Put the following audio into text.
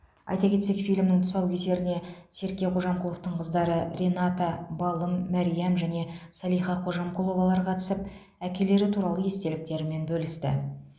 айта кетсек фильмнің тұсаукесеріне серке қожамқұловтың қыздары рената балым мәриам және салиха қожамқұловалар қатысып әкелері туралы естеліктерімен бөлісті